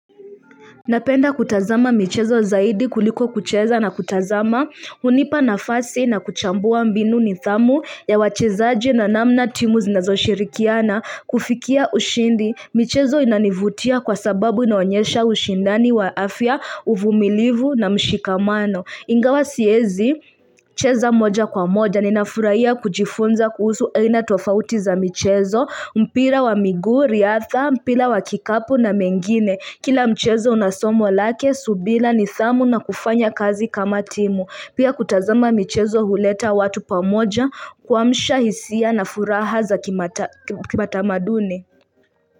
Napenda kutazama michezo zaidi kuliko kucheza, na kutazama, hunipa nafasi na kuchambua mbinu nidhamu ya wachezaji na namna timu zinazo shirikiana hufikia ushindi. Michezo inanivutia kwa sababu inaonyesha ushindani wa afya, uvumilivu na mshikamano. Ingawa siezi, cheza moja kwa moja, nina furahia kujifunza kuhusu aina tofauti za michezo, mpira wa miguu, riadha, mpira wa kikapu na mengine. Kila mchezo una somo lake, subila nidhamu na kufanya kazi kama timu.vPia kutazama michezo huleta watu pamoja, kuamsha hisia na furaha za kimatamaduni.